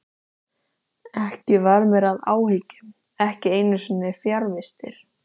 Ekkert varð mér að áhyggjum, ekki einu sinni fjarvistir.